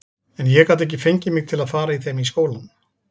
En ég gat ekki fengið mig til að fara í þeim í skólann.